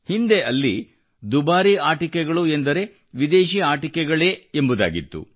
ಹಿಂದೆ ಅಲ್ಲಿ ದುಬಾರಿ ಆಟಿಕೆಗಳು ಎಂದರೆ ವಿದೇಶಿ ಆಟಿಕೆಗಳು ಎಂಬುದಾಗಿತ್ತು